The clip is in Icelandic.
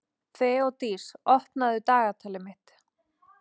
Þeódís, opnaðu dagatalið mitt.